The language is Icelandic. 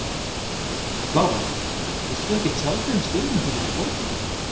Lára: Vilt þú ekkert tjá þig um stöðuna í borginni?